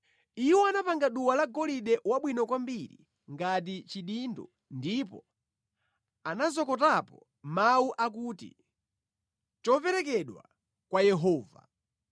Iwo anapanga duwa lagolide wabwino kwambiri ngati chidindo ndipo anazokotapo mawu akuti, Wopatulikira Yehova .